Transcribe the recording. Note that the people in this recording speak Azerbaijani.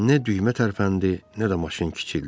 Nə düymə tərpəndi, nə də maşın kiçildi.